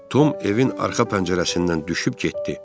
Tom evin arxa pəncərəsindən düşüb getdi.